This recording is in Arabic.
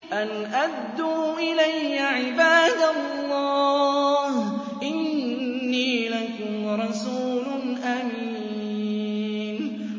أَنْ أَدُّوا إِلَيَّ عِبَادَ اللَّهِ ۖ إِنِّي لَكُمْ رَسُولٌ أَمِينٌ